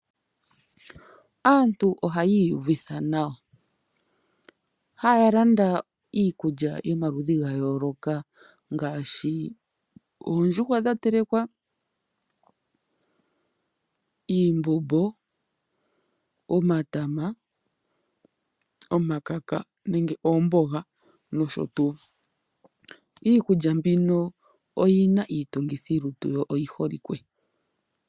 Aantu oha yiyuvitha nawa, yalanda iikulya yomaludhi ngayoloka, ngashi oondjuhwa dhatelekwa, iimbombo, omatama, omakaka nenge omboga nosho tu, iikulya mbino oyina itungithilutu yo oyiholike.